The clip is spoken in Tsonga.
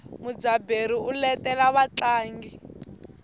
mudzaberi u letela vatlangi